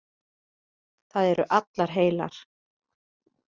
Það eru allar heilar.